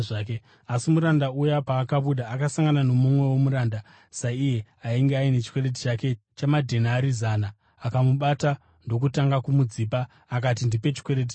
“Asi muranda uya paakabuda, akasangana nomumwewo muranda saiye ainge aine chikwereti chake chamadhenari zana . Akamubata ndokutanga kumudzipa. Akati, ‘Ndipe chikwereti changu!’